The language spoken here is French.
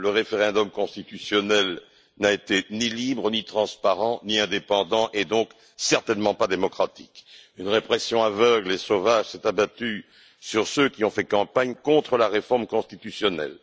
Le référendum constitutionnel n'a été ni libre, ni transparent, ni indépendant et donc certainement pas démocratique. Une répression aveugle et sauvage s'est abattue sur ceux qui ont fait campagne contre la réforme constitutionnelle.